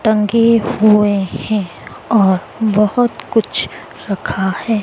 टंगे हुए हैं और बहोत कुछ रखा है।